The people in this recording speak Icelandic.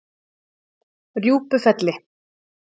Rjúpufelli